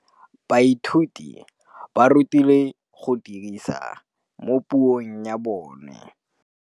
Baithuti ba rutilwe go dirisa tirwa mo puong ya bone.